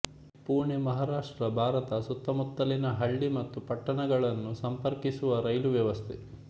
ಪುಣೆ ಮಹಾರಾಷ್ಟ್ರ ಭಾರತ ಸುತ್ತಮುತ್ತಲಿನ ಹಳ್ಳಿ ಮತ್ತು ಪಟ್ಟಣಗಳನ್ನು ಸಂಪರ್ಕಿಸುವ ರೈಲು ವ್ಯವಸ್ಥೆ